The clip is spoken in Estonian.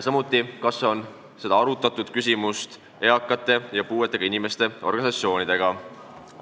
Samuti, kas seda küsimust on arutatud eakate ja puuetega inimeste organisatsioonidega?